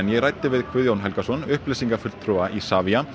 ég ræddi við Guðjón Helgason upplýsingafulltrúa Isavia